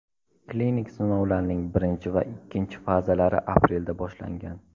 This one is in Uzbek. Klinik sinovlarning birinchi va ikkinchi fazalari aprelda boshlangan.